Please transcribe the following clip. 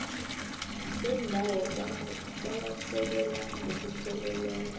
bendawo buwasekela ngokupheleleko